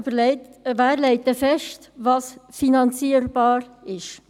– Denn, wer legt dann fest, was finanzierbar ist?